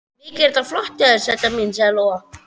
Mikið er þetta flott hjá þér, sæta mín, sagði Lóa.